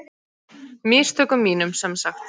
Mistökum mínum, sem sagt!